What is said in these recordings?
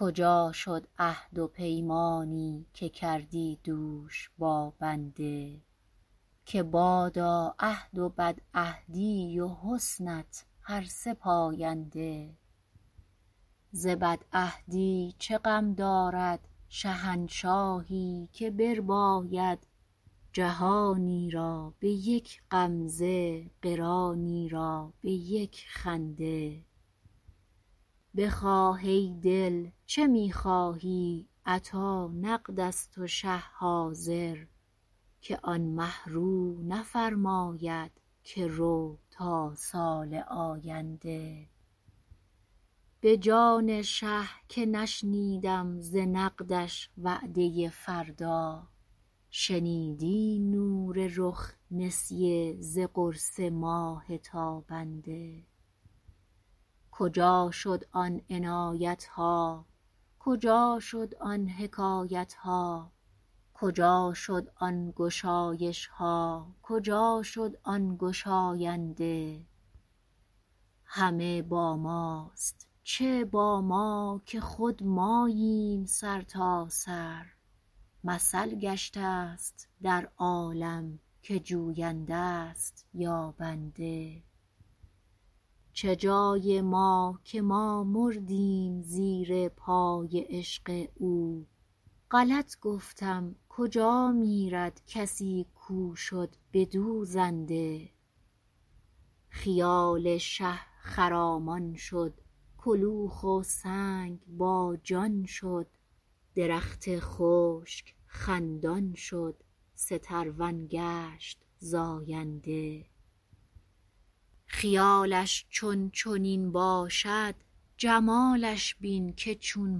کجا شد عهد و پیمانی که کردی دوش با بنده که بادا عهد و بدعهدی و حسنت هر سه پاینده ز بدعهدی چه غم دارد شهنشاهی که برباید جهانی را به یک غمزه قرانی را به یک خنده بخواه ای دل چه می خواهی عطا نقد است و شه حاضر که آن مه رو نفرماید که رو تا سال آینده به جان شه که نشنیدم ز نقدش وعده فردا شنیدی نور رخ نسیه ز قرص ماه تابنده کجا شد آن عنایت ها کجا شد آن حکایت ها کجا شد آن گشایش ها کجا شد آن گشاینده همه با ماست چه با ما که خود ماییم سرتاسر مثل گشته ست در عالم که جوینده ست یابنده چه جای ما که ما مردیم زیر پای عشق او غلط گفتم کجا میرد کسی کو شد بدو زنده خیال شه خرامان شد کلوخ و سنگ باجان شد درخت خشک خندان شد سترون گشت زاینده خیالش چون چنین باشد جمالش بین که چون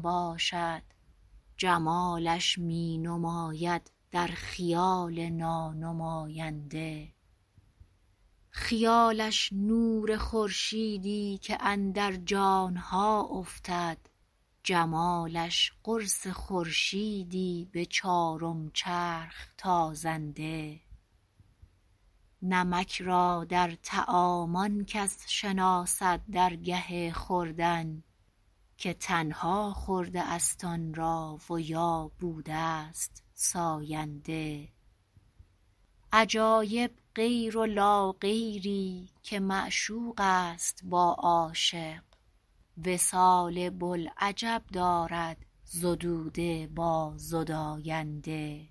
باشد جمالش می نماید در خیال نانماینده خیالش نور خورشیدی که اندر جان ها افتد جمالش قرص خورشیدی به چارم چرخ تازنده نمک را در طعام آن کس شناسد در گه خوردن که تنها خورده ست آن را و یا بوده ست ساینده عجایب غیر و لاغیری که معشوق است با عاشق وصال بوالعجب دارد زدوده با زداینده